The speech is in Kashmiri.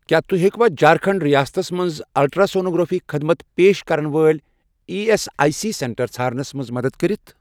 کیٛاہ تُہۍ ہیٚکوا جھارکھنٛڈ رِیاستس مَنٛز الٹرٛاسونوگرافی خدمت پیش کرن وٲلۍ E S I C centre ژھارنَس مَنٛز مدد کٔرِتھ؟